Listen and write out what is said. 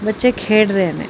ਬੱਚੇ ਖੇਡ ਰਹੇ ਨੇ।